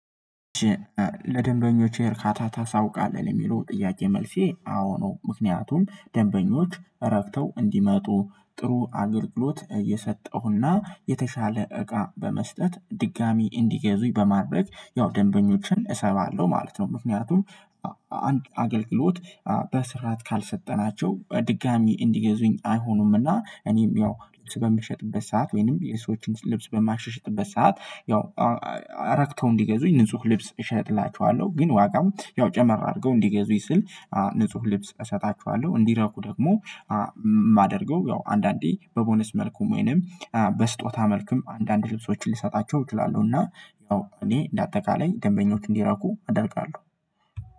ለደንበኞቼ እርካታ ታሳውቃለህ የሚለው ጥያቄ መልሴ አዎ ነው። ምክንያቱም ደንበኞች ረክተው እንዲመጡ ጥሩ አገልግሎት እየሰጠሁና የተሻለ እቃ በመስጠት ድጋሚ እንዲገዙኝ በማድረግ ያው ደንበኞችን እሰባለሁ ማለት ነው። ምክንያቱም አገልግሎት በስርዓት ካልሰጠናቸው ድጋሚ እንዲገዙኝ አይሆኑምና። እኔም ያው ልክ በምሸጥበት ሰዓት ወይንም የሰዎችን ልብስ በማሸሸጥበት ሰዓት ያው ረክተው እንዲገዙኝ ንጹህ ልብስ እሸጥላችኋለሁ። ግን ዋጋም ያው ጨመር አድርገው እንዲገዙ ይስል ንጹህ ልብስ እሰጣችኋለሁ። እንዲረኩ ደግሞ የማደርገው ያው አንዳንዴ በቦነስ መልኩም ወይንም በስጦታ መልኩም አንዳንድ ልብሶችን ልሰጣቸው ይላሉ። እና እኔ እንደ አጠቃላይ ደንበኞች እንዲረኩ አደርጋለሁ።